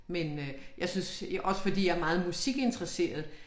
Men jeg synes også fordi jeg meget musikinteresseret